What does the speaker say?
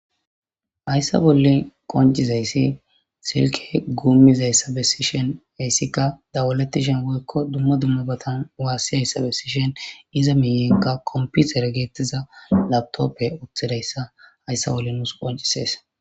Hayssa bolli qoncizaysi silkey guumizaysa bessishin, hayssika dawaletishin woyko dumma dumma bootan waasizaysa bessishin, iza miiyenka kompitere geetetiza laapitopey uttidaysa, hayssa bolli nuus quncisees.